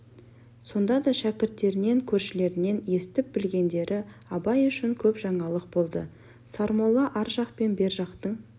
сонда да шәкірттерінен көршілерінен естіп-білгендері абай үшін көп жаңалық болды сармолла ар жақ пен бер жақтың